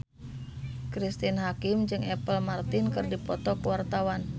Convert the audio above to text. Cristine Hakim jeung Apple Martin keur dipoto ku wartawan